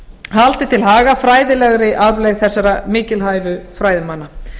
haldið til haga fræðilegri arfleifð þessara mikilvægu fræðimanna